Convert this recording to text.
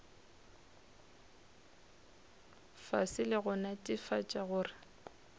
fase le go netefatša gore